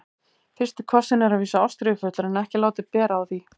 FYRSTI KOSSINN er að vísu ástríðufullur en ekki látið bera á því.